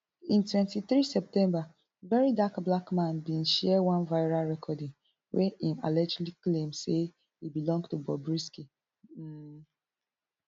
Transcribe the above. in twenty-three september verydarkblackman bin share one viral recording wey im allegedly claim say e belong to bobrisky um